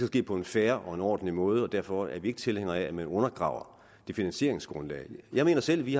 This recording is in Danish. ske på en fair og ordentlig måde og derfor er vi ikke tilhængere af at man undergraver det finansieringsgrundlag jeg mener selv at vi